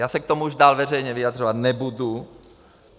Já se k tomu už dál veřejně vyjadřovat nebudu.